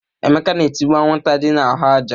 Emeka na-etigbu anwụnta dị n'ahụ ájá.